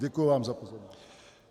Děkuji vám za pozornost.